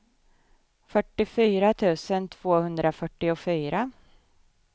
fyrtiofyra tusen tvåhundrafyrtiofyra